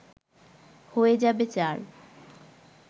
হয়ে যাবে চার